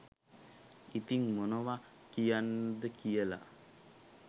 ඉතිං මොනව කියන්න ද කියල